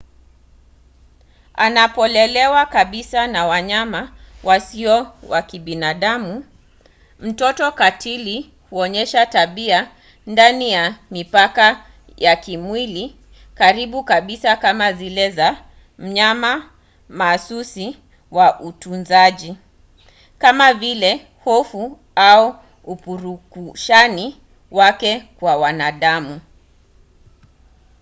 anapolelewa kabisa na wanyama wasio wa kibinadamu mtoto katili huonyesha tabia ndani ya mipaka ya kimwili karibu kabisa kama zile za mnyama mahsusi wa utunzaji kama vile hofu au upurukushani wake kwa wanadamu